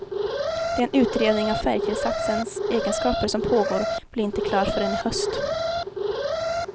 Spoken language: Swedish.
Den utredning av färgtillsatsens egenskaper som pågår blir inte klar förrän i höst.